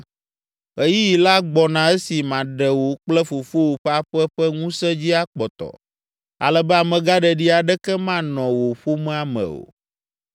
Ɣeyiɣi la gbɔna esi maɖe wò kple fofowò ƒe aƒe ƒe ŋusẽ dzi akpɔtɔ ale be amegãɖeɖi aɖeke manɔ wò ƒomea me o,